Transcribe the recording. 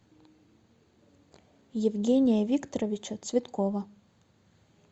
евгения викторовича цветкова